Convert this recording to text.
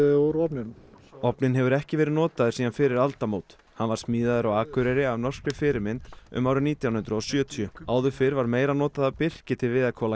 úr ofninum ofninn hefur ekki verið notaður síðan fyrir aldamót hann var smíðaður á Akureyri að norskri fyrirmynd um árið nítján hundruð og sjötíu áður fyrr var meira notað af birki til